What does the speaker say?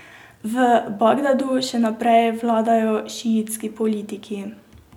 V Bagdadu še naprej vladajo šiitski politiki.